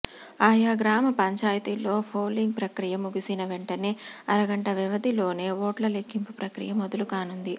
ఆయా గ్రామ పంచాయతీల్లో పోలింగ్ ప్రక్రియ ముగిసిన వెంటనే అర గంట వ్యవధిలోనే ఓట్ల లెక్కింపు ప్రక్రియ మొదలు కానుంది